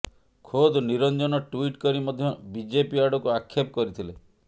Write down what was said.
ଖୋଦ୍ ନିରଞ୍ଜନ ଟ୍ବିଟ୍ କରି ମଧ୍ୟ ବିଜେପି ଆଡକୁ ଆକ୍ଷେପ କରିଥିଲେ